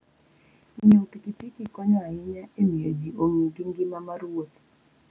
Ng'iewo pikipiki konyo ahinya e miyo ji ong'i gi ngima mar wuotho.